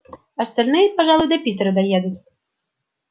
остальные пожалуй до питера доедут